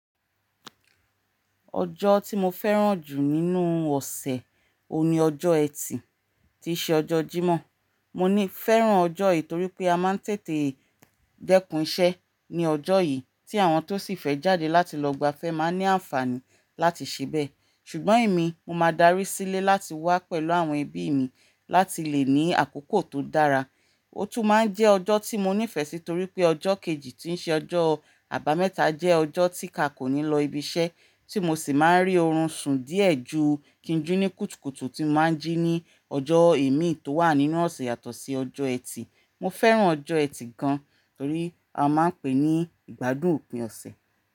Ọjọ́ tí mo fẹ́ràn jù nínú ọ̀sẹ̀ òní ọjọ́ ẹtì tí ṣe ọjọ́ Jímọ̀. Mo ní fẹ́ràn ọjọ́ yìí torí pé a máa ń tètè dẹ́kun iṣẹ́ ní ọjọ́ yìí tí àwọn tó sì fẹ́ jáde láti lọ gbafẹ́ máa ń ní àǹfààní láti ṣebẹ̀. Ṣùgbọ́n èmi, mo máa darí sílé láti wá pẹ̀lú àwọn ẹbí mi láti lè ní àkókò tó dára. Ó tún máa ń jẹ́ ọjọ́ tí mo nífẹ̀ẹ́ sí torí pé ọjọ́ kejì tí ń ṣe ọjọ́ àbámẹ́ta jẹ́ ọjọ́ tí ka kò ní lọ ibiṣẹ́ tí mo sì máa ń rí oorun sùn díẹ̀ ju kí ń jù ní kùtùkùtù tí mo máa ń jí ní ọjọ́ eemí tó wà nínú ọ̀sẹ̀ yàtọ̀ sí ọjọ́ ẹtì. Mo fẹ́ràn ọjọ́ ẹtì gan torí a máa ń pè é ní ìgbádùn òpin ọ̀sẹ̀.